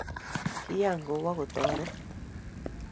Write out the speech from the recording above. Kiyan kowo kotoret